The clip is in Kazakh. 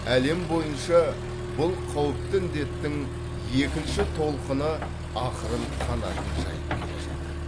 әлем бойынша бұл қауіпті індеттің екінші толқыны ақырын қанатын жайып келе жатыр